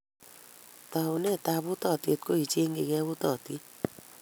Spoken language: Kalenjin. Taunetap utaatyet ko icheeng'jigei utaatyet.